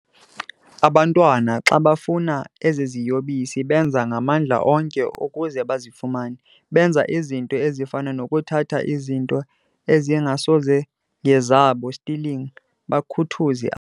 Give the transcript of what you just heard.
Abantwana xa befuna eziziyobisi benza ngamandla onke ukuze bazifumane, benza ezinto ezifana noku thatha izinto ezingasongezaba, stealing, Bakhuthuze.